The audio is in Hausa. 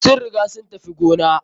Sun riga sun tafi gona.